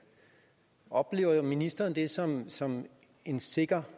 oplever ministeren det som som en sikker